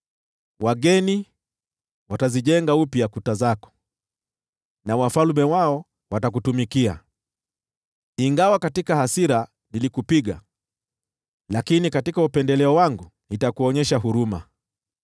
“Wageni watazijenga upya kuta zako, na wafalme wao watakutumikia. Ingawa katika hasira nilikupiga, lakini katika upendeleo wangu nitakuonyesha huruma.